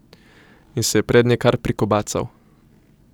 In se je prednje kar prikobacal.